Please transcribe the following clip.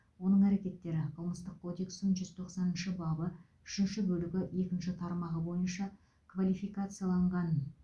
оның әрекеттері қылмыстық кодекстің жүз тоқсаныншы бабы үшінші бөлігі екінші тармағы бойынша квалификацияланған